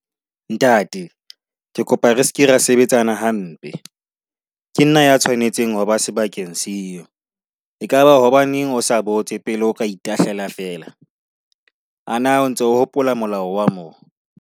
Ntate, ke kopa re se ke ra sebetsana hampe, ke nna ya tshwanetseng ho ba sebakeng seo. Ekaba hobaneng o sa botse pele o ka itahlela fela? A na o ntso o hopola molao wa mo?